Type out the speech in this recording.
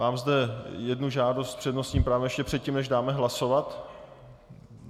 Mám zde jednu žádost s přednostním právem ještě předtím, než dáme hlasovat?